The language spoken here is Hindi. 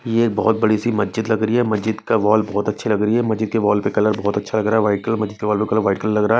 ये बहोत बड़ी सी मज्जीद लग रही है मज्जीद का वॉल बहोत अच्छी लग रही मज्जीद वॉल का कलर बहुत अच्छा लग रहा है व्हाईट कलर मज्जीद के वॉल का कलर व्हाईट कलर लग रहा है।